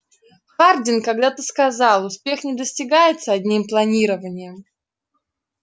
хардин когда-то сказал успех не достигается одним планированием